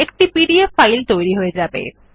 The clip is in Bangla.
একটি পিডিএফ ফাইল তৈরি হয়ে যাবে